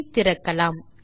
பின் திறக்கலாம்